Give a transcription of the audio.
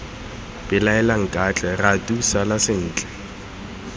belaela nkatle ratu sala sentle